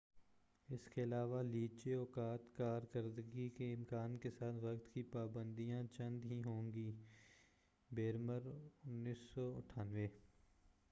اس کے علاوہ، لچیلے اوقاتِ کار کردگی کے امکان کے ساتھ وقت کی پا بند یاں چند ہی ہوں گی بریمر، 1998ء۔